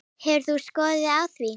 Hefur þú skoðun á því?